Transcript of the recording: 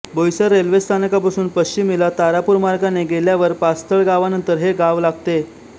Boisar railway स्थानकापासून पश्चिमेला तारापूर मार्गाने गेल्यावर पास्थळ गावानंतर हे गाव लागते